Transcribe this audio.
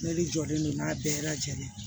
Ne de jɔlen do n'a bɛɛ lajɛlen ye